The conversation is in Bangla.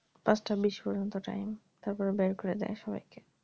পাঁচটার বিশ পর্যন্ত time তারপরে বের করে দেয় সবাই কে